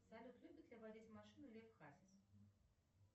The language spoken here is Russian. салют любит ли водить машину лев хасис